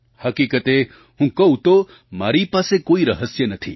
હકીકતે હું કહું તો મારી પાસે કોઈ રહસ્ય નથી